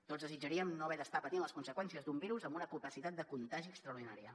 tots desitjaríem no haver d’estar patint les conseqüències d’un virus amb una capacitat de contagi extraordinària